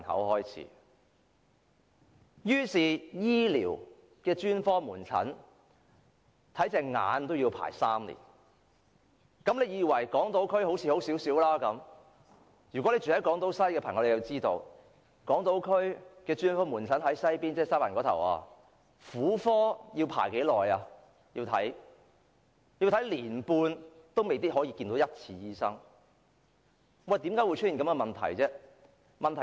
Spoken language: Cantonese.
例如專科門診，看眼科要輪候3年，莫以為港島區的情況較好，住在港島西的朋友便知道，在港島區西環看婦科專科門診，竟然輪候一年半亦未必能就診，為何會出現這情況？